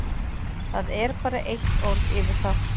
Það er bara eitt orð yfir það.